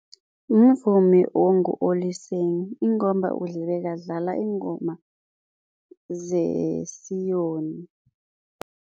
Mvumi ongu-Oliseng ingomba bekadlala iingoma zesiyoni.